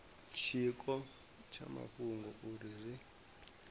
tshiko tsha mafhungo uri izwi